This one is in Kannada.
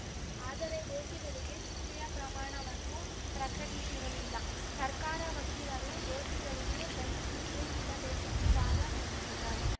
ಆದರೆ ದೋಷಿಗಳಿಗೆ ಶಿಕ್ಷೆಯ ಪ್ರಮಾಣವನ್ನು ಪ್ರಕಟಿಸಿರಲಿಲ್ಲ ಸರ್ಕಾರ ವಕೀಲರು ದೋಷಿಗಳಿಗೆ ಗಲ್ಲು ಶಿಕ್ಷೆ ನೀಡಬೇಕೆಂದು ವಾದ ಮಂಡಿಸಿದ್ದಾರೆ